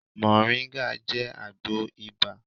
Mọ̀nríńgà jẹ́ àgbo ibà